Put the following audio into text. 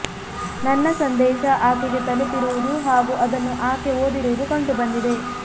ನನ್ನ ಸಂದೇಶ ಆಕೆಗೆ ತಲುಪಿರುವುದು ಹಾಗೂ ಅದನ್ನು ಆಕೆ ಓದಿರುವುದು ಕಂಡು ಬಂದಿದೆ